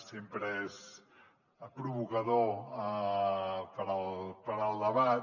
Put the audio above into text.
sempre és provocador per al debat